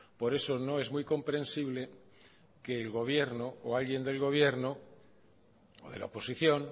por eso no es muy comprensible que el gobierno o alguien del gobierno o de la oposición